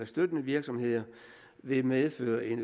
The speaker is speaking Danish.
støttende virksomheder vil medføre en